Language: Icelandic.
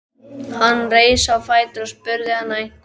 Hann reis á fætur og spurði hana einhvers.